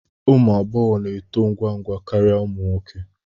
Ụmụ agbọghọ na-eto ngwa ngwa karịa ụmụ nwoke